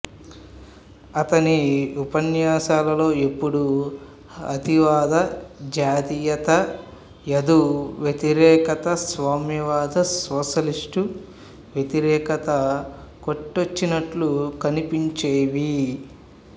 అతని ఉపన్యాసాలలో ఎప్పుడూ అతివాద జాతీయత యూదు వ్యతిరేకత సామ్యవాద సోషలిస్ట్ వ్యతిరేకత కొట్టొచ్చినట్లు కనిపించేవి